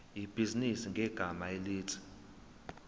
ibhizinisi ngegama elithi